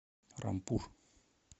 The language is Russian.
рампур